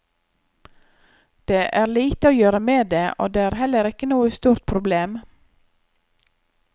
Det er lite å gjøre med det, og det er heller ikke noe stort problem.